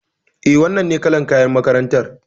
Eh, wannan ne kalar kayan makarantar